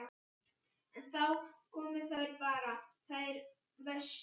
En þá komu þær bara, þær verstu.